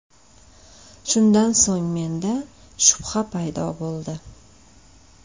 Shundan so‘ng menda shubha paydo bo‘ldi.